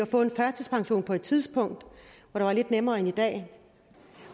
at få en førtidspension på et tidspunkt hvor det var lidt nemmere end i dag